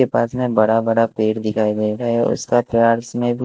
के पास में बड़ा बड़ा पेड़ दिखाई दे रहा है और उसका --